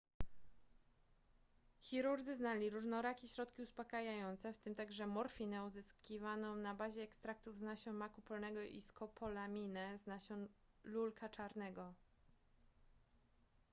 chirurdzy znali różnorakie środki uspokajające w tym także morfinę uzyskiwaną na bazie ekstraktów z nasion maku polnego i skopolaminę z nasion lulka czarnego